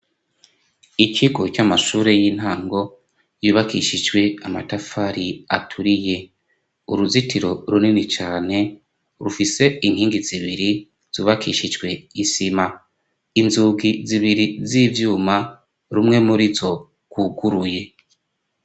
Ikigo c'amashure y'intango yubakishijwe amatafari aturiye. Uruzitiro runini cane rufise inkingi zibiri zubakishijwe isima. Inzugi zibiri z'ivyuma, rumwe muri zo rwuguruye.